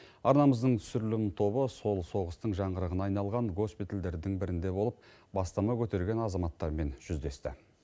арнамыздың түсірілім тобы сол соғыстың жаңғырығына айналған госпитальдердің бірінде болып бастама көтерген азаматтармен жүздесті